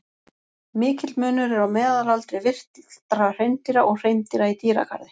Mikill munur er á meðalaldri villtra hreindýra og hreindýra í dýragarði.